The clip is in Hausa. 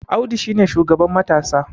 Audu shi ne shugaban matasa